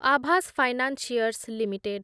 Awas financiers limited